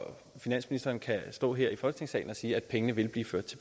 finansministeren kan stå her i folketingssalen og sige at pengene vil